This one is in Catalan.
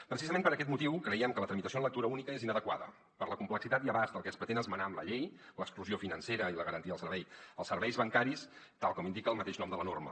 precisament per aquest motiu creiem que la tramitació en lectura única és inadequada per la complexitat i abast del que es pretén esmenar amb la llei l’exclusió financera i la garantia del servei els serveis bancaris tal com indica el mateix nom de la norma